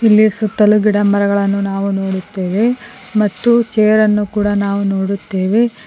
ಇಲ್ಲಿಯೇ ಸುತ್ತಲೂ ಗಿಡ ಮರಗಳನ್ನು ನಾವು ನೋಡುತ್ತೇವೆ ಮತ್ತು ಚೇರ್ ಅನ್ನು ಕೂಡ ನಾವು ನೋಡುತ್ತೇವೆ.